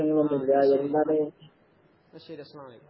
ആഹ് ശെരി. എന്നാ ശെരി അസ്‌ലാം അലൈക്കും.